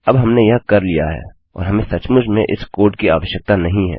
अब हमने यह कर लिया है और हमें सचमुच में इस कोड की आवश्यकता नहीं है